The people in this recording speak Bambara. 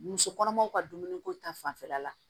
Muso kɔnɔmaw ka dumuniko ta fanfɛla la